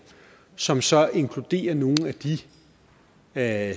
som så inkluderer nogle af